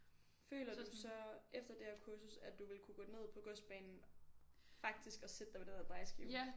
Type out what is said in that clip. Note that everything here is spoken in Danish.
Føler du så efter det her kursus at du ville kunne gå ned på godsbanen faktisk og sætte dig ved den der drejeskive